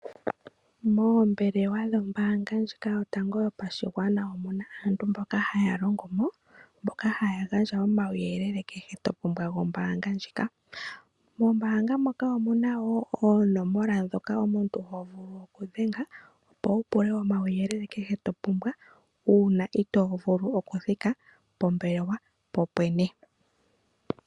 Moombelewa dhombaanga yotango yopashigwana omu na aantu mboka haya longo mo mboka haya gandja omauyelele kehe to pumbwa gombaanga ndjika. Ombaanga ndjika oyi na wo oonomola ndhoka omuntu ho vulu okudhenga, opo wu pule omauyelele kehe to pumbwa uuna itoo vulu okuthika pombelewa popwene.